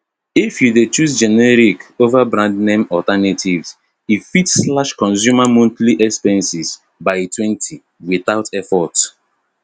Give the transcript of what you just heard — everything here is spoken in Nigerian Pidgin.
if you dey choose generic over brandname alternatives e fit slash consumer monthly expenses bytwentywithout effort